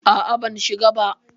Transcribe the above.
A'a, ban shiga ba.